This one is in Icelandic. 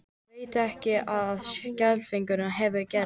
Veit að eitthvað skelfilegt hefur gerst.